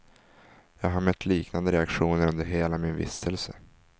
Jag har mött liknande reaktioner under hela min vistelse.